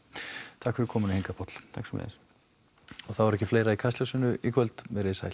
takk fyrir komuna hingað Páll takk sömuleiðis og þá er ekki fleira í í kvöld veriði sæl